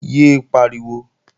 Yé é pariwo!